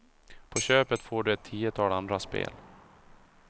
På köpet får du ett tiotal andra spel.